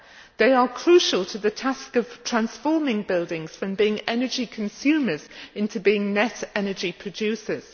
They are crucial to the task of transforming buildings from being energy consumers into being net energy producers.